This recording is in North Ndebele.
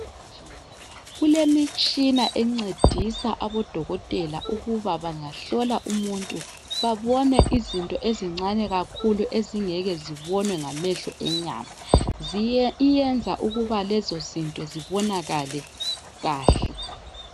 Kulemitshina encedisa abodokotela ukuthi bangahlola umuntu babone izinto ezincane kakhulu ezingeke zibonwe ngameho enyama ziye iyenza ukuba lezozinto zibonakale kahle.